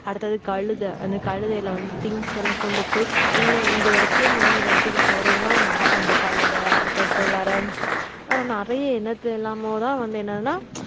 அடுத்தது கழுதை அந்த கழுதையில வந்து things எல்லாம் கொண்டு போய் இன்ன இந்த இடத்துல இருந்து இன்னொரு இடத்துக்கு போறதுனா மா அந்த கழுதை அதுக்கு அடுத்தது வேற வேற நிறைய என்னத்த எல்லாமோ தான் வந்து என்னதுனா